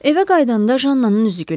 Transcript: Evə qayıdanda Jannanın üzü gülürdü.